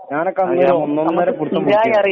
സ്ഥിരായി അറിയുന്ന